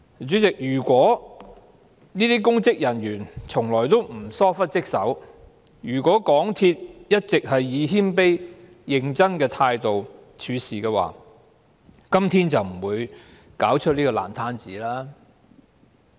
主席，如果這些公職人員從來沒有疏忽職守、如果港鐵公司一直是以謙卑和認真的態度處事，今天便不會弄出這個爛攤子了。